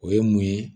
O ye mun ye